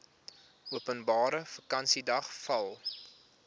openbare vakansiedag val